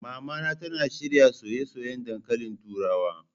Mamana tana shirya soyayyen dankalin turawa.